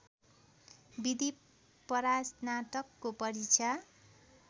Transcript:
विधि परास्नातकको परीक्षा